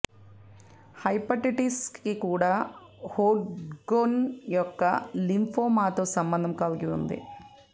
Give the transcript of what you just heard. hepatitis C కూడా Hodgkin యొక్క లింఫోమాతో సంబంధం కలిగి ఉంది